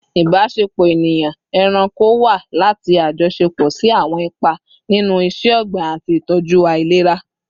Ibasepo eniyan-eranko wa lati ajọṣepọ si awọn ipa ninu iṣẹ-ogbin ati itọju ailera